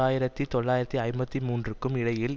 ஆயிரத்தி தொள்ளாயிரத்து ஐம்பத்தி மூன்றுக்கும் இடையில்